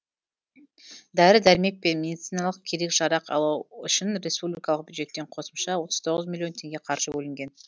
дәрі дәрмек пен медициналық керек жарақ алу үшін республикалық бюджеттен қосымша отыз тоғыз миллион теңге қаржы бөлінген